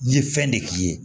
N ye fɛn de k'i ye